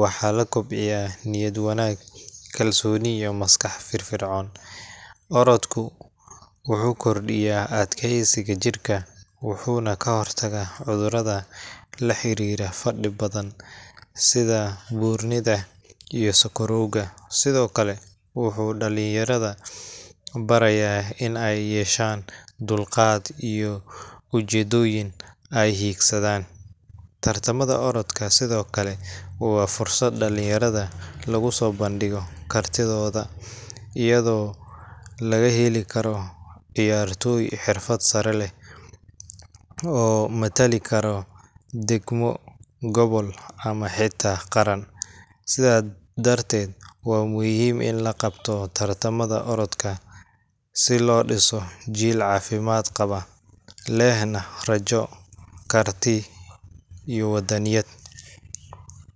waxaa la kobciyaa niyad wanaag, kalsooni, iyo maskax firfircoon. Orodku wuxuu kordhiyaa adkaysiga jirka, wuxuuna ka hortagaa cudurrada la xiriira fadhi badan sida buurnida iyo sonkorowga. Sidoo kale, wuxuu dhalinyarada barayaa in ay yeeshaan dulqaad iyo ujeedooyin ay hiigsadaan. Tartamada orodka sidoo kale waa fursad dhalinyarada lagu soo bandhigo kartidooda, iyadoo laga heli karo ciyaartoy xirfado sare leh oo matali kara degmo, gobol ama xitaa qaran. Sidaa darteed, waa muhiim in la qabto tartamada orodka si loo dhiso jiil caafimaad qaba, lehna rajo, karti, iyo waddaniyad